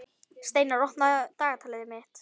Steinar, opnaðu dagatalið mitt.